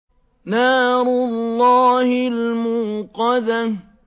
نَارُ اللَّهِ الْمُوقَدَةُ